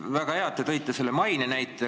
Väga hea, et te tõite selle maine näite.